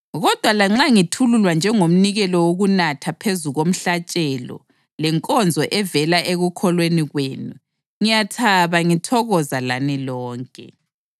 Kodwa lanxa ngithululwa njengomnikelo wokunathwa phezu komhlatshelo lenkonzo evela ekukholweni kwenu, ngiyathaba ngithokoza lani lonke.